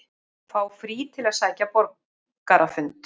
Fá frí til að sækja borgarafund